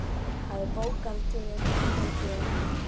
Hafið bókhald yfir útgjöld yðar.